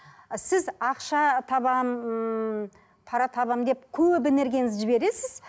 сіз ақша табамын ммм пара табамын деп көп энергияңызды жібересіз